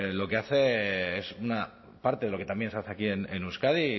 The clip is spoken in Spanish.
lo que hacen es una parte de lo que también se hace aquí en euskadi y